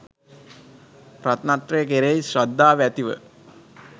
රත්නත්‍රය කෙරෙහි ශ්‍රද්ධාව ඇති ව